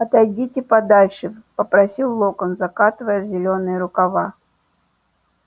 отойдите подальше попросил локонс закатывая зелёные рукава